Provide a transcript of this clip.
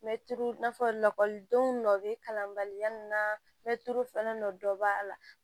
N bɛ tulu in fɔ lakɔlidenw nɔ bɛ kalan bali na mɛ tulu falen dɔ b'a la